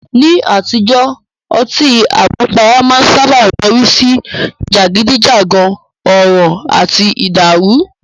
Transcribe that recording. Ní àtijọ́, ọtí àmupara máa ń sáábà yọrí sí jàgídíjàgan, ọ̀ràn àti ìdàrù.